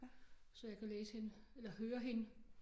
Så jeg kan læse hende eller høre hende